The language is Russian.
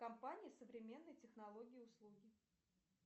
компания современные технологии и услуги